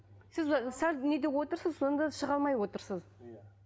сіз ы сәл неде отырсыз сонда шыға алмай отырсыз иә